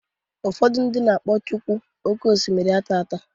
Ụfọdụ na-akpọ chukwu oké osimiri ataata..